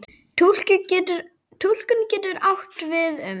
Túlkun getur átt við um